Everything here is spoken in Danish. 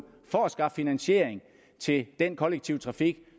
for at skaffe finansiering til den kollektive trafik